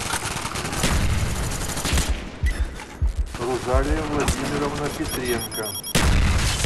рузалия владимировна петренко